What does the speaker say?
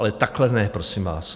Ale takhle ne, prosím vás.